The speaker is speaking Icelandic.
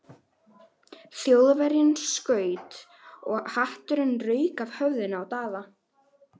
Þjóðverjinn skaut og hatturinn rauk af höfðinu á Daða.